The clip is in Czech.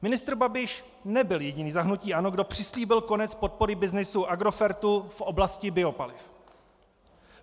Ministr Babiš nebyl jediný za hnutí ANO, kdo přislíbil konec podpory byznysu Agrofertu v oblasti biopaliv.